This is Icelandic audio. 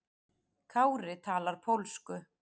Kári talar pólsku.